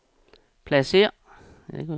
pladsér